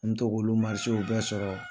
to k'olu marisew bɛɛ sɔrɔ.